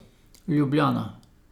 Ljubljana.